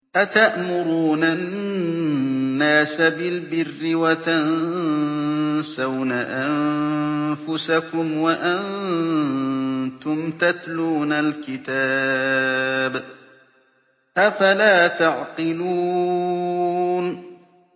۞ أَتَأْمُرُونَ النَّاسَ بِالْبِرِّ وَتَنسَوْنَ أَنفُسَكُمْ وَأَنتُمْ تَتْلُونَ الْكِتَابَ ۚ أَفَلَا تَعْقِلُونَ